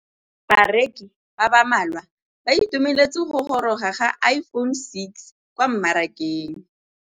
Bareki ba ba malwa ba ituemeletse go gôrôga ga Iphone6 kwa mmarakeng.